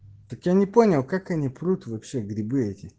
так я не понял как они пруд вообще грибы эти